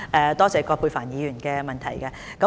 多謝葛珮帆議員的提問。